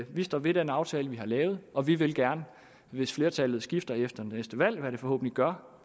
vi står ved den aftale vi har lavet og vi vil gerne hvis flertallet skifter efter næste valg hvad det forhåbentlig gør